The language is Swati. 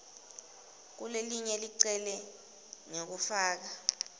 kulelelinye licele ngekufaka